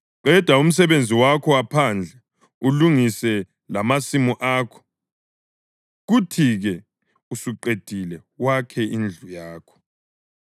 Qeda umsebenzi wakho waphandle ulungise lamasimu akho; kuthi-ke usuqedile wakhe indlu yakho.